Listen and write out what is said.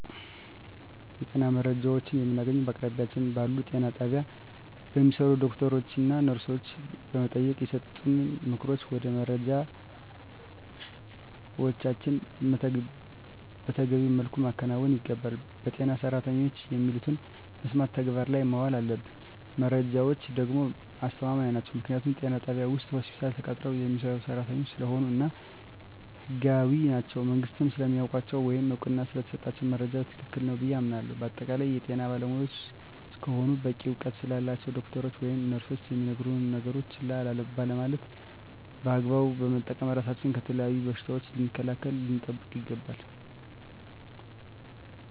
የጤና መረጃዎችን የምናገኘዉ በአቅራቢያችን ባሉ ጤና ጣቢያ በሚሰሩ ዶክተሮችን ነርሶችን በመጠየቅና የሰጡንን ምክሮች ወይም መረጃዎችን መተገቢዉ መልኩ ማከናወን ይገባናል በጤና ሰራተኖች የሚሉትን በመስማት ተግባር ላይ ማዋል አለብን መረጃዎች ደግሞ አስተማማኝ ናቸዉ ምክንያቱም ጤና ጣቢያ ወይም ሆስፒታል ተቀጥረዉ የሚሰሩ ሰራተኞች ስለሆኑ እና ህጋዊም ናቸዉ መንግስትም ስለሚያዉቃቸዉ ወይም እዉቅና ስለተሰጣቸዉ መረጃዉ ትክክል ነዉ ብየ አምናለሁ በአጠቃላይ የጤና ባለሞያዎች እስከሆኑና በቂ እዉቀት ስላላቸዉ ዶክተሮች ወይም ነርሶች የሚነግሩነን ነገሮች ችላ ባለማለት በአግባቡ በመጠቀም ራሳችንን ከተለያዩ በሽታዎች ልንከላከል ወይም ልንጠብቅ ይገባል